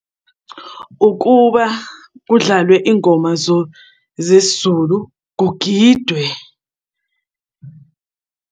Ukuba kudlalwe ingoma zesiZulu, kugidwe.